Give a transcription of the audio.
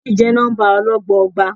Méjì jẹ́ nọ́ḿbà ọlọ́gbọọgba.